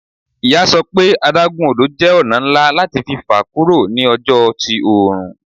Iya sọ pe adagun odo jẹ ọna nla lati fa kuro ni ọjọ ti oorun